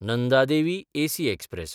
Nanda Devi AC express